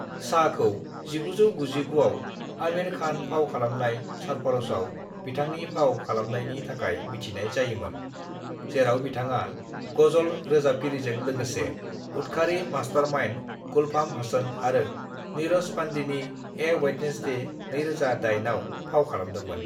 "शाहखौ 1999 आव आमिर खान फाव खालामनाय सरफरोशआव बिथांनि फाव खालामनायनि थाखाय मिथिनाय जायोंमोन, जेराव बिथाङा गजल रोजाबगिरिजों लागोसे उदखारि मास्टारमाइन्ड गुलफाम हसन आरो नीरज पांडेनि ए वेड्नसडे (2008) आव फाव खालामदोंमोन।"